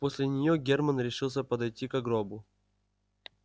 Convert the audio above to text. после нее германн решился подойти ко гробу